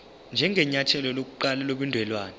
njengenyathelo lokuqala lobudelwane